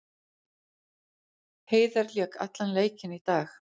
Heiðar lék allan leikinn í dag